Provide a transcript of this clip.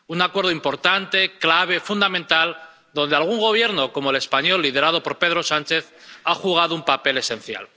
Un acuerdo importante, clave, fundamental, en el que algún Gobierno, como el español, liderado por Pedro Sánchez, ha desempeñado un papel esencial.